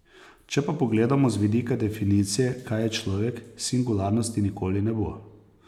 Če pa pogledamo z vidika definicije, kaj je človek, singularnosti nikoli ne bo.